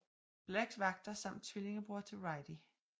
Blacks vagter samt tvillingebror til Righty